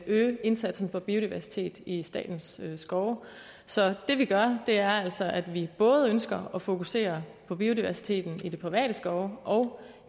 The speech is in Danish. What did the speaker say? øge indsatsen for biodiversitet i statens skove så det vi gør er altså at vi både ønsker at fokusere på biodiversiteten i de private skove og